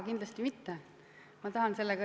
Kindlasti mitte!